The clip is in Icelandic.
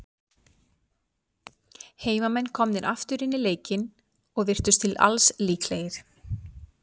Heimamenn komnir aftur inn í leikinn, og virtust til alls líklegir.